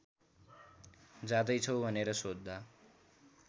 जाँदैछौ भनेर सोध्दा